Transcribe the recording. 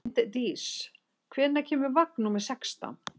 Linddís, hvenær kemur vagn númer sextán?